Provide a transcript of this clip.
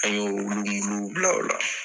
An y'olu muluw bila ola